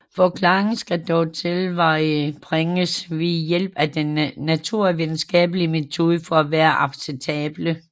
Forklaringerne skal dog tilvejebringes ved hjælp af den naturvidenskabelige metode for at være acceptable